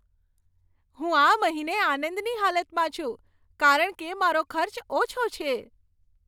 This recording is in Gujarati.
હું આ મહિને આનંદની હાલતમાં છું કારણ કે મારો ખર્ચ ઓછો છે.